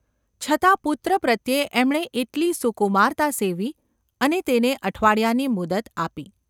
છતાં પુત્ર પ્રત્યે એમણે એટલી સુકુમારતા સેવી અને તેને અઠવાડિયાની મુદત આપી.